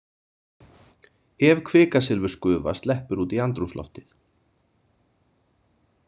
Ef kvikasilfursgufa sleppur út í andrúmsloftið.